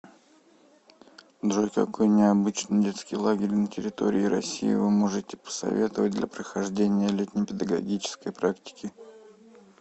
джой какой необычный детский лагерь на территории россии вы можете посоветовать для прохождения летней педагогической практики